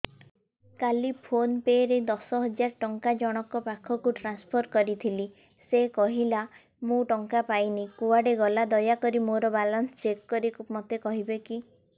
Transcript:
କାଲି PhonePe ରେ ଦଶ ହଜାର ଟଙ୍କା ଜଣକ ପାଖକୁ ଟ୍ରାନ୍ସଫର୍ କରିଥିଲି ସେ କହିଲା ମୁଁ ଟଙ୍କା ପାଇନି କୁଆଡେ ଗଲା ଦୟାକରି ମୋର ବାଲାନ୍ସ ଚେକ୍ କରି ମୋତେ କହିବେ କି